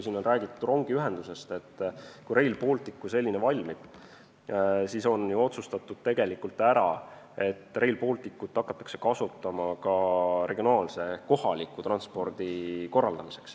Tegelikult on ju ära otsustatud, et kui Rail Baltic valmib, siis seda hakatakse kasutama ka regionaalse, kohaliku transpordi korraldamiseks.